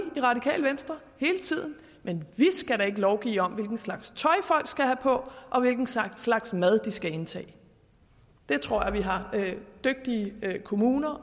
i radikale venstre hele tiden men vi skal da ikke lovgive om hvilken slags tøj folk skal have på og hvilken slags slags mad de skal indtage det tror jeg vi har dygtige kommuner